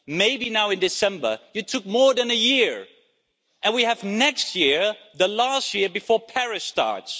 Maybe now in December it took more than a year and then we have next year, the last year before Paris starts.